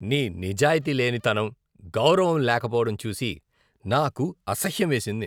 నీ నిజాయితీ లేనితనం, గౌరవం లేకపోవడం చూసి నాకు అసహ్యం వేసింది.